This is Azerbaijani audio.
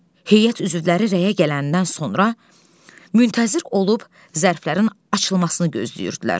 Heyət üzvləri rəyə gələndən sonra müntəzir olub zərflərin açılmasını gözləyirdilər.